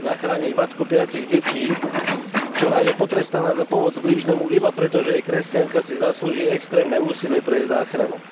Zachrániť matku piatich detí, ktorá je potrestaná za pomoc blížnemu iba preto, že je kresťanka, si zaslúži extrémne úsilie o jej záchranu.